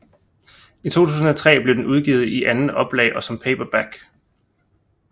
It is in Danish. I 2003 blev den udgivet i andet oplag og som paperback